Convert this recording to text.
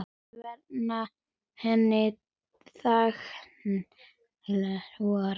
Þau verma hin þögulu orð.